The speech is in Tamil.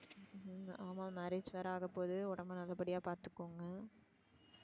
ஹம் ஆமா marriage வேற ஆக போது உடம்ப நல்லபடியா பாத்துக்கோங்க.